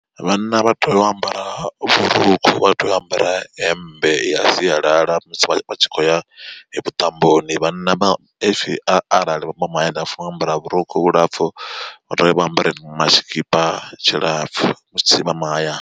Vhanna vha tea u ambara vhurukhu vha tea u ambara hemmbe ya sialala musi vha tshi khou ya vhuṱamboni vhanna vha if a arali vha mahayani vha funa u ambara vhurukhu vhulapfhu uri vha ambare ma tshikipa tshilapfu musi vha mahayani.